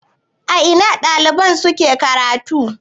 A ina ɗalibai suke karatu?